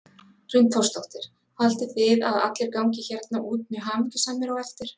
Hrund Þórsdóttir: Haldið þið að allir gangi hérna út mjög hamingjusamir á eftir?